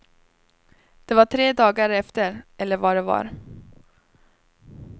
Det var tre dagar efter eller vad det var.